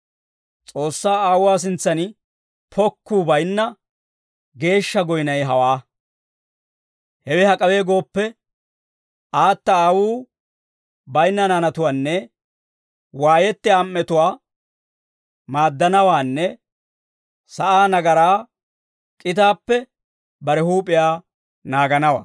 S'oossaa Aawuwaa sintsan pokkuu bayinna geeshsha goynay hawaa; hewe hak'awe gooppe, aata aawuu bayinna naanatuwaanne waayettiyaa am"etuwaa maaddanawaanne sa'aa nagaraa k'itaappe bare huup'iyaa naaganawaa.